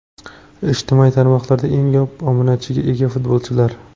Ijtimoiy tarmoqlarda eng ko‘p obunachiga ega futbolchilar: !